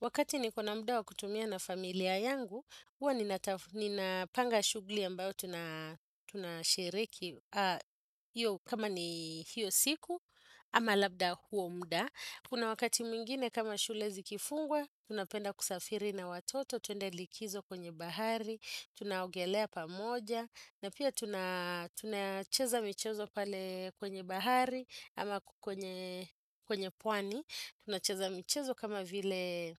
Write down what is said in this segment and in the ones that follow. Wakati niko na muda wa kutumia na familia yangu, huwa ninapanga shughuli ambayo tunashereke kama ni hiyo siku, ama labda huo muda. Kuna wakati mwingine kama shule zikifungwa, tunapenda kusafiri na watoto, twende likizo kwenye bahari, tunaogelea pamoja, na pia tunacheza michezo pale kwenye bahari, kwenye pwani tunacheza michezo kama vile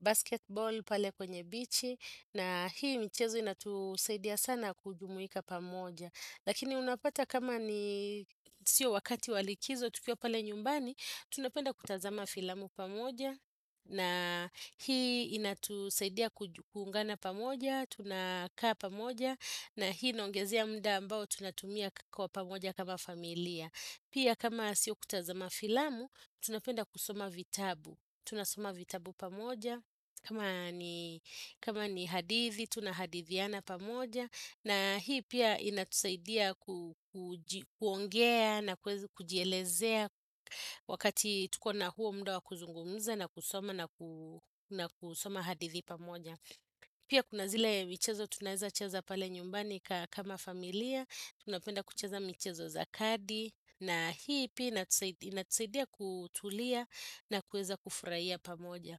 basketball pale kwenye bichi, na hii michezo inatusaidia sana kujumuika pamoja. Lakini unapata kama ni sio wakati wa likizo, tukio pale nyumbani, tunapenda kutazama filamu pamoja, na hii inatusaidi kuungana pamoja, tunakaa pamoja, na hii naongezea muda ambao tunatumia kwa pamoja kama familia. Pia kama sio kutazama filamu, tunapenda kusoma vitabu, tunasoma vitabu pamoja, kama ni hadithi, tunahadithiana pamoja, na hii pia inatusaidia kuongea na kueza kujielezea, wakati tuko na huo muda wa kuzungumza na kusoma na kusoma hadithi pamoja. Pia kuna zile michezo tunaeza cheza pale nyumbani kama familia, tunapenda kucheza michezo za kadi, na hii inatusaidia kutulia na kuweza kufurahia pamoja.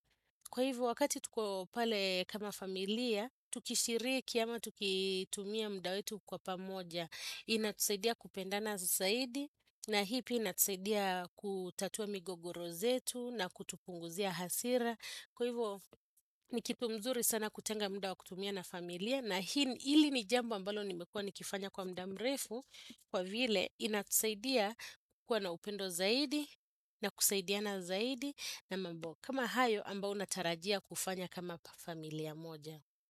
Kwa hivo wakati tuko pale kama familia, tukishiriki ama tukitumia muda wetu kwa pamoja, inatusaidia kupendana zaidi, na hii pia inatusaidia kutatuwa migogoro zetu na kutupunguzia hasira. Kwa hivo ni kitu mzuri sana kutenga muda wa kutumia na familia, na hili ni jambo ambalo nimekuwa nikifanya kwa muda mrefu, kwa vile inatusaidia kukuwa na upendo zaidi, na kusaidiana zaidi na mambo. Kama hayo ambayo unatarajia kufanya kama familia moja.